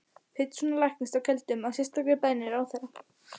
Péturssonar læknis á Keldum, að sérstakri beiðni ráðherra.